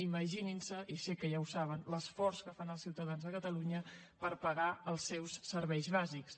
imaginin se i sé que ja ho saben l’esforç que fan els ciutadans de catalunya per pagar els seus serveis bàsics